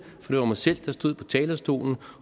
var mig selv der stod på talerstolen